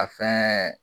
A fɛn